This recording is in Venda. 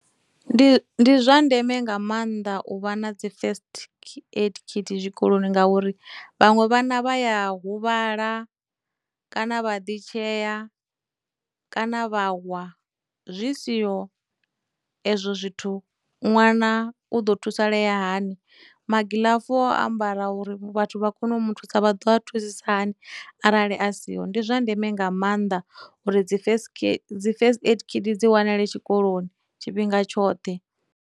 Ndi ndi zwa ndeme nga maanḓa u vha na dzi first aid kit tshikoloni ngauri vhaṅwe vhana vha ya huvhala, kana vha ḓi tshea, kana vha wa, zwi siho ezwo zwithu ṅwana u ḓo thusalea hani, magilafu o ambara uri vhathu vha kone u mu thusa dza vha ḓo a thusisa hani arali a siho, ndi zwa ndeme nga maanḓa uri dzi first, dzi first aid kit dzi wanale tshikoloni tshifhinga tshoṱhe.